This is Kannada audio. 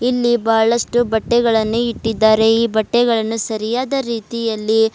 ಇಲ್ಲಿ ಬಹಳಷ್ಟು ಬಟ್ಟೆಗಳನ್ನು ಇಟ್ಟಿದ್ದಾರೆ ಈ ಬಟ್ಟೆಗಳನ್ನು ಸರಿಯಾದ ರೀತಿಯಲ್ಲಿ--